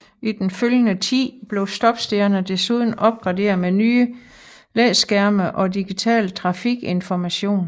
I den følgende tid blev stoppestederne desuden opgraderet med nye læskærme og digital trafikinformation